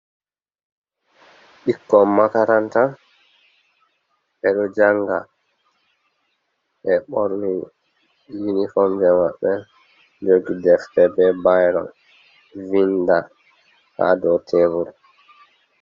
Ɓikkon makaranta ɓe ɗo janga ɓe ɓorni unifom ji maɓɓe, man jogi defte be bairo vinda ha dow tebul.